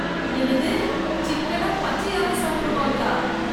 என்னது சிக்கன பச்சையாவே சாப்புடுவாங்களா?